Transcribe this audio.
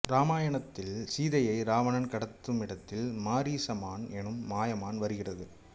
ராமாயணத்தில் சீதையை ராவணன் கடத்துமிடத்தில் மாரீச மான் எனும் மாயமான் வருகிறது